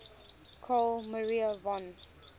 carl maria von